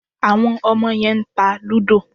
Àwọn ọmọ yẹn ń ta lúdọ̀.